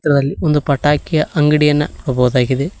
ಇದರಲ್ಲಿ ಒಂದು ಪಟಾಕಿ ಅಂಗಡೆಯನ್ನು ನೋಡ್ಬಾವುದಾಗಿದೆ.